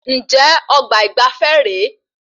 Njẹ ọgbà ìgbafé re?